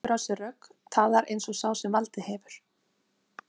Hann tekur á sig rögg, talar eins og sá sem valdið hefur.